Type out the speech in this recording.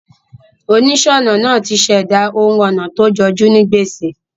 Onísònà naa ti sèdá oun onà to jojú ni gbèsè